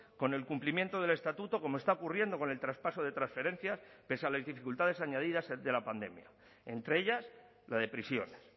con el cumplimiento del estatuto como está ocurriendo con el traspaso de transferencias pese a las dificultades añadidas de la pandemia entre ellas la de prisiones